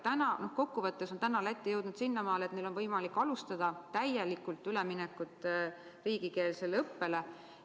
Kokkuvõttes on Läti täna jõudnud sinnamaale, et neil on võimalik alustada üleminekut täielikult riigikeelsele õppele.